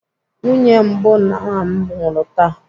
Nwunye mbụ nna m nwụrụ taa.